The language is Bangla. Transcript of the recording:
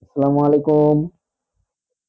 সালাম ওয়ালিকুম।